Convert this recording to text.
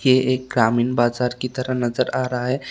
ये एक ग्रामीण बाजार की तरह नजर आ रहा है।